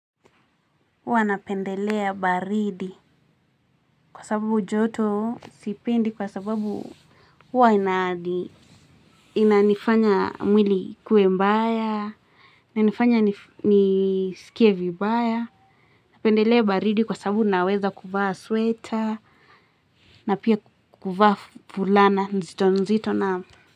Huwa napendelea baridi kwa sababu joto sipendi kwa sababu huwa inaadi. Inanifanya mwili ikuwe mbaiya. Nanifanya nisikie vibaya. Napendelea baridi kwa sababu naweza kuvaa sweater. Na pia kuvaa fulana nzito nzito na.